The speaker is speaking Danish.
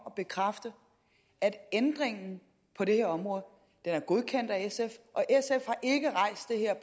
at bekræfte at ændringen på det her område er godkendt af sf